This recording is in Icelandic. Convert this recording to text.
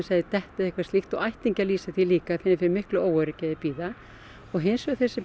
þeir detta eða eitthvað slíkt ættingjar lýsa því líka fyrir miklu óöryggi á meðan þeir bíða og hins vegar þeir sem